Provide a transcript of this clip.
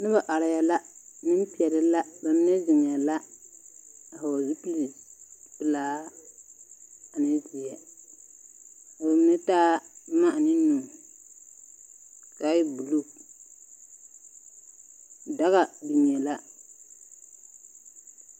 Noba arɛɛ la, nembeɛle la, ba mine zeŋɛɛ la, a hɔgle zupilpelaa ane zeɛ, ka ba mine taa boma ane nu ka a e buluu. Daga biŋee la.